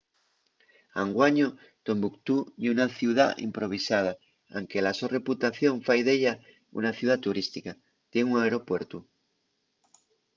anguaño tombuctú ye una ciudá improvisada anque la so reputación fai d’ella una ciudá turística. tien un aeropuertu